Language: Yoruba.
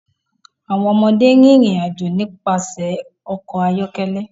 Awọn ọmọde rin irin-ajo nipasẹ ọkọ ayọkẹlẹ